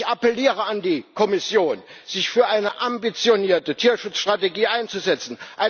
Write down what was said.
Ich appelliere an die Kommission, sich für eine ambitionierte Tierschutzstrategie einzusetzen.